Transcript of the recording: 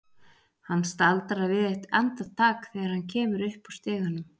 Hann staldrar við eitt andartak þegar hann kemur upp úr stiganum.